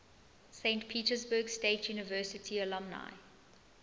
saint petersburg state university alumni